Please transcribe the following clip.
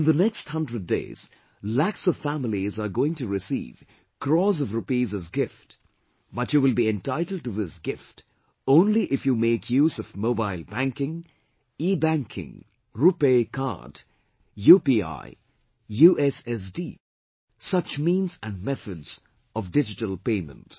In the next 100 days, lakhs of families are going to receive crores of rupees as gift, but you will be entitled to this gift only if you make use of mobile banking, ebanking, RuPay Card, UPI, USSD such means and methods of digital payment